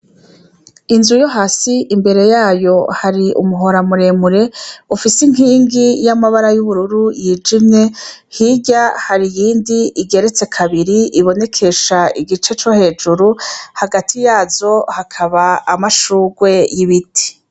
Inzu yo hasi imbere yayo yari umuhora muremure, ufise inkingi y'amabara y'ubururu yijimye, hirya hari iyindi igeretse kabiri ibonekesha igice co hejuru, hagati yazo hakaba amashurwe y'ibiti.